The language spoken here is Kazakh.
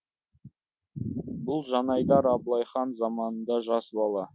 бұл жанайдар абылай хан заманында жас бала